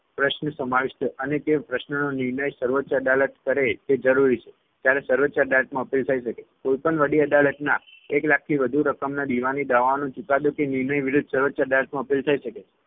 પ્રશ્ન સમાવિષ્ઠ છે અને તે પ્રશ્નનો નિર્ણય સર્વોચ્ય અદાલત કરે તે જરુરી છે ત્યારે સર્વોચ્ય અદાલતમાં appeal થઇ શકે. કોઈપણ વડી અદાલતના એક લાખથી વધુ રકમના દીવાની દાવાઓનો ચુકાદો કે નિર્ણય વિરુદ્ધ સર્વોચ્ય અદાલત માં appeal થઇ શકે છે.